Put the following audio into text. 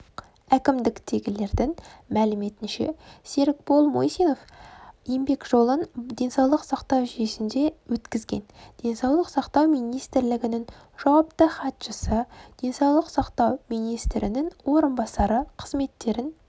әкімдіктегілердің мәліметінше серікбол мусинов еңбек жолын денсаулық сақтау жүйесінде өткізген денсаулық сақтау министрлігінің жауапты хатшысы денсаулық сақтау министрінің орынбасары қызметтерін